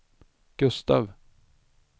Gustaf